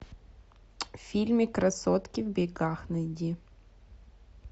фильмик красотки в бегах найди